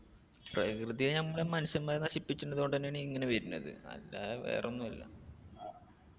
പ്രകൃതിയെ നമ്മള് മനുഷ്യമ്മാര് നശിപ്പിച്ചണ്ടത് കൊണ്ടെന്നെയാണ് ഇങ്ങനെ വരുന്നത് അതാ വേറൊന്നു അല്ല